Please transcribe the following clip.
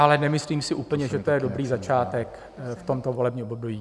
Ale nemyslím si úplně, že to je dobrý začátek v tomto volebním období.